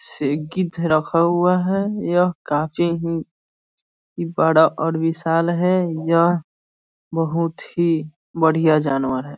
से गिद्ध रखा हुआ है यह काफी बड़ा और विशाल है यह बहोत ही बढ़िया जानवर है |